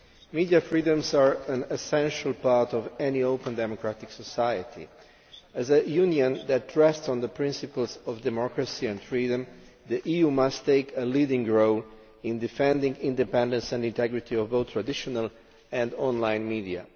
Media freedoms are an essential part of any open democratic society. As a Union that rests on the principles of democracy and freedom, the EU must take a leading role in defending the independence and integrity of both traditional and online media.